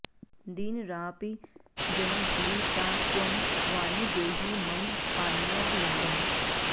दीनराडपि जनो भुवि सा त्वं वाणि देहि मम पाण्यवलम्बम्